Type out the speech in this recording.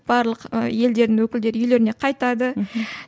барлық ы елдердің өкілдері үйлеріне қайтады мхм